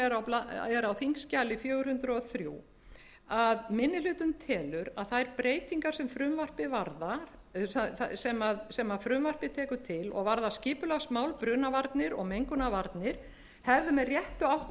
er á þingskjali fjögur hundruð og þrjú að minni hlutinn telur að þær breytingar sem frumvarpið tekur til og varðar skipulagsmál brunavarnir og mengunarvarnir hefðu með réttu átt að